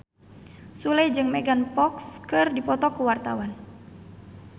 Sule jeung Megan Fox keur dipoto ku wartawan